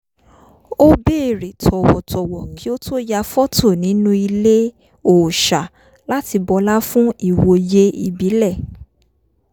ó béèrè tọ̀wọ̀-tọ̀wọ̀ kí ó tó ya fọ́tò nínú ilé òòṣà láti bọlá fún ìwòye ìbílẹ̀